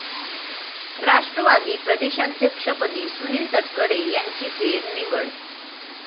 राष्ट्रवादी प्रदेशाध्यक्षपदी सुनिल तटकरे यांची फेरनिवड